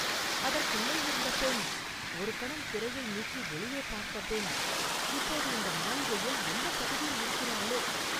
அதற்குள்ளேயிருந்த பெண், ஒரு கணம் திரையை நீக்கி வெளியே பார்த்த பெண், இப்போது இந்த மாளிகையில் எந்தப் பகுதியில் இருக்கிறாளோ?